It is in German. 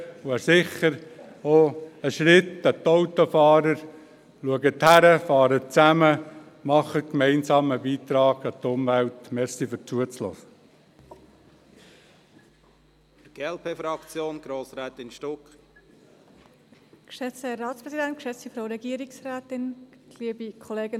Es wäre sicher auch ein Schritt für die Autofahrer: Schaut hin, fahrt gemeinsam, leistet gemeinsam einen Beitrag für die Umwelt.